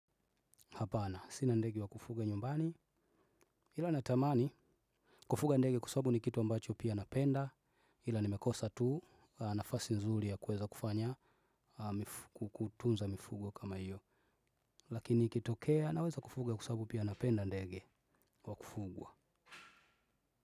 Hapana, sina ndege wa kufuga nyumbani. Hila na tamani, kufuga ndege kwasababu ni kitu ambacho pia napenda. Hila nimekosa tu, nafasi nzuri ya kuweza kufanya, kutunza mifugo kama iyo. Lakini ikitokea, naweza kufuga kwasabu pia napenda ndege wa kufugwa.